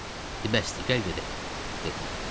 Dedi bəsdi, gəl gedək, dedim.